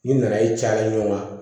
Ni nana ye caya ɲɔgɔn kan